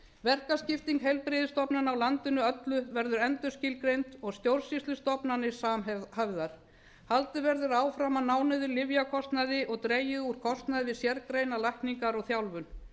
verkaskipting heilbrigðisstofnana á landinu öllu verður endurskilgreind og stjórnsýslustofnanir samhæfðar haldið verður áfram að ná niður lyfjakostnaði og dregið úr kostnaði við sérgreinalækningar og þjálfun